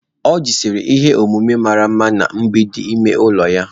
Oji sere ihe osise mara mma na mgbidi ime ụlọ ya.